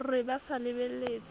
re ba sa lebeletse a